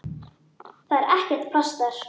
Það er ekkert pláss þar.